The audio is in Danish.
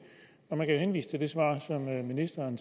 jeg kan henvise til det svar som ministeren